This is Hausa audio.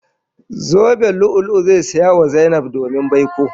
Zoben lu'ulu'u zai saya wa Zainab domin baiko.